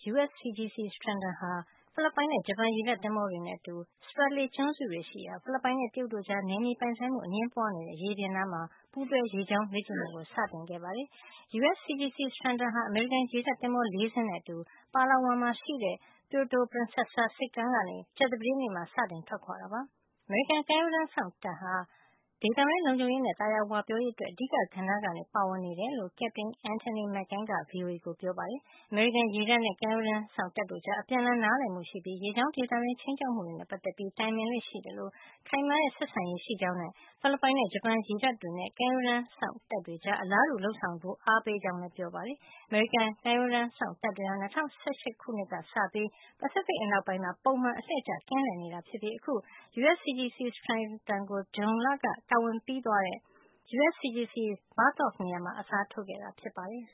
USCGC Stratton ဟာ ဖိလစ်ပိုင်နဲ့ ဂျပန်ရေတပ်သင်္ဘောတွေနဲ့ အတူ Spratly ကျွန်းစုတွေရှိရာ ဖိလစ်ပိုင်နဲ့ တရုတ်တို့ကြား နယ်မြေပိုင်ဆိုင်မှု အငြင်းပွားနေတဲ့ ရေပြင်နားမှာ ပူးတွဲရေကြောင်းလေ့ကျင့်မှုကို စတင်လုပ်ဆောင်ခဲ့ပါတယ်။ USCGC Stratton ဟာ အမေရိကန်ရေတပ်သင်္ဘော ၄ စင်းနဲ့အတူ Palawan မှာရှိတဲ့ Puerto Princesa ဆိပ်ကမ်းကနေ ကြာသပတေးနေ့မှာ စတင်ထွက်ခွာလာတာ ဖြစ်ပါတယ်။ အမေရိကန်ကမ်းရိုးတန်းစောင့်တပ်ဟာ ဒေသတွင်းလုံခြုံရေးနဲ့ သာယာဝပြောရေးအတွက် အဓိကကဏ္ဍကနေ ပါဝင်နေတာဖြစ်ကြောင်း ကက်ပတိန် Antoinette McCann က VOA ကို ပြောပါတယ်။ အမေရိကန်ရေတပ်နဲ့ ကမ်းရိုးတန်စောင့်တပ်တို့ကြား အပြန်အလှန်နားလည်မှုရှိပြီး ရေကြောင်းဒေသတွင်း ခြိမ်းခြောက်မှုတွေနဲ့ ပတ်သက်ပြီး တိုင်ပင်လေ့ရှိသလို ခိုင်မာတဲ့ ဆက်ဆံရေးရှိကြောင်းနဲ့ ဖိလစ်ပိုင်နဲ့ ဂျပန်ရေတပ်တွေနဲ့ ကမ်းရိုးတန်းစောင့် တပ်တွေကြား အလားတူ လုပ်ဆောင်ဖို့ အားပေးနေကြောင်းလည်း ပြောပါတယ်။ အမေရိကန်ကမ်းရိုးတန်းစောင့်တပ်တွေဟာ ၂၀၁၈ ခုနှစ်ကစပြီး ပစိဖိတ် အနောက်ပိုင်းမှာ ပုံမှန် အလှည့်ကျ ကင်းလှည့်နေတာ ဖြစ်ပြီး အခု USCGC Stratton ကို ဇွန်လက တာဝန်ပြီးသွားတဲ့ USCGC Bertholf နေရာမှာ အစားထိုးခဲ့တာ ဖြစ်ပါတယ်။